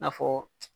I n'a fɔ